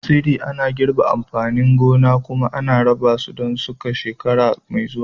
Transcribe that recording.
tsiri ana girbe amfanin gona kuma ana raba su don shuka shekara mai zuwa